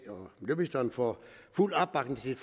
får fuld opbakning til